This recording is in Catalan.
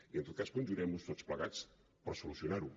i en tot cas conjurem nos tots plegats per solucionar ho